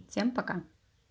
всем пока